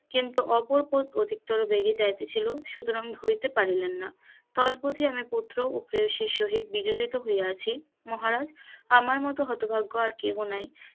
কিন্তু অপর অধিক তর রেগে যাইতেছিল সুতরাং ধরিতে পারিলেন না তদবধি আমার পুত্র ও প্রেয়সির সহিত বিজড়িত হইয়াছি মহারাজ আমার মত হতভাগ্য আর কেহ নাই,